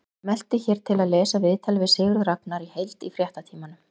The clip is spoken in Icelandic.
Smelltu hér til að lesa viðtalið við Sigurð Ragnar í heild í Fréttatímanum